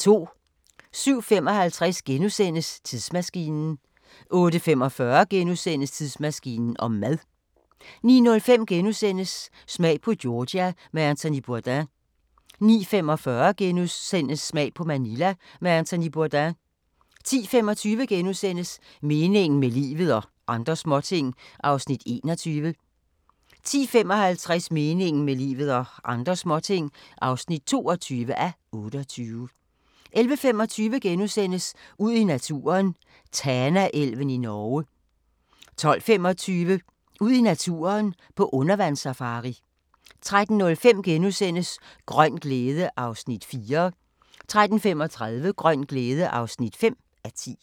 07:55: Tidsmaskinen * 08:45: Tidsmaskinen om mad * 09:05: Smag på Georgia med Anthony Bourdain * 09:45: Smag på Manila med Anthony Bourdain * 10:25: Meningen med livet – og andre småting (21:28)* 10:55: Meningen med livet – og andre småting (22:28) 11:25: Ud i naturen: Tanaelven i Norge * 12:25: Ud i naturen: På undervandssafari 13:05: Grøn glæde (4:10)* 13:35: Grøn glæde (5:10)